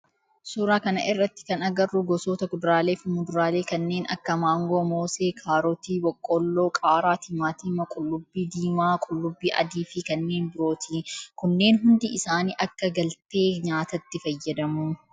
Suuraa kana irratti kan agarru gosoota kuduraalee fi muduraalee kanneen akka maangoo, moosee, kaarootii, boqqoolloo, qaaraa, timaatima, qullubbii diimaa, qullubbii adii fi kanneen birooti. Kunneen hundi isaanii akka galtee nyaatatti fayyadu.